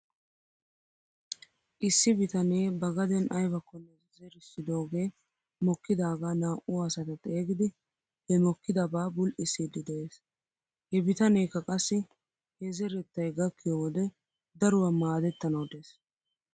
Issi bitanee ba gaden aybakkone zerissidoogee mokkidaagaa naa''u asata xeegidi he mokkidabaa bul"issiddi de'es. He bitaneekka qassi he zerettay gakkiyoo wode daruwaa maadettanaw des.